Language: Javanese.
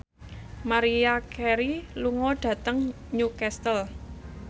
Maria Carey lunga dhateng Newcastle